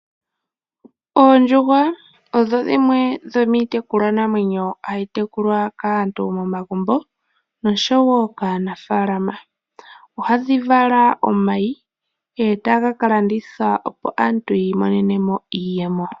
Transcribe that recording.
Oondjuhwa odho dhimwe dhomitekulwa naamwenyo hayi tekulwa kaantu momagumbo oshowo kaanafalama. Ohadhi vala omayi etaga kalandithwa, opo aantu yi imonenemo iiyemo.